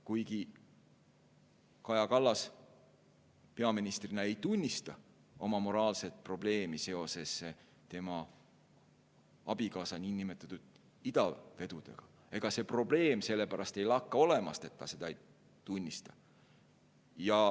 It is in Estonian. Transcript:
Kuigi Kaja Kallas peaministrina ei tunnista oma moraalset probleemi seoses tema abikaasa niinimetatud idavedudega, ega see probleem sellepärast ei lakka olemast, et ta seda ei tunnista.